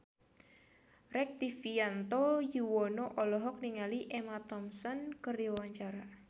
Rektivianto Yoewono olohok ningali Emma Thompson keur diwawancara